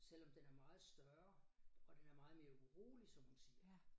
Selvom den er meget større og den er meget mere urolig som hun siger